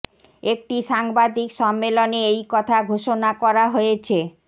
একটি সাংবাদিক সম্মেলনে এই কথা ঘোষণা করা হয়েছে